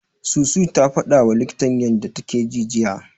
Susu ta fadawa likitan ta yanda take ji jiya.